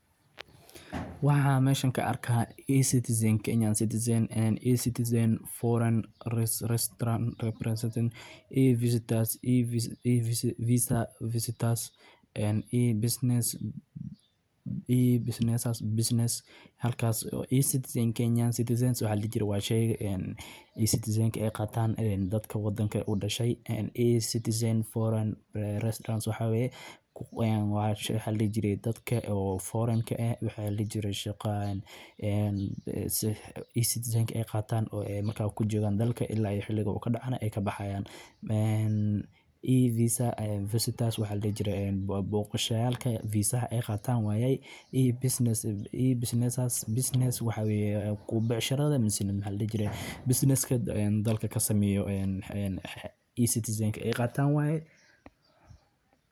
Waxaa meshinka arka ah is citizen kenyan citizen and i citizen foreign restaurant representing i visitors i visa visa visitors and i business i business business halkaas is citizen kenyan citizens waxaa lijri wayshay and i citizen qataan dadka waddanka u dhashay and i. Citizen foreign restaurants waxa weey ku weyn waasho halijirey dadka oo foreign ka ah waxa laliyirey shaqaan and i citizen qataan oo makay ku joogan dalka ilaa xiligaa oo ka dhacaya ay ka baxayaan and i visa visitors waxaad geeriyay booqsheeyay visaa qataan waayay i business i business. Business waxa weeyahay ku buuxisashada munsanida hal jiray, business kad dalka ka samiiyo and i citizen qataan waayay.